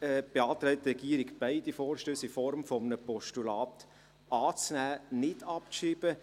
Deshalb beantragt die Regierung, beide Vorstösse in Form eines Postulats anzunehmen, und nicht abzuschreiben.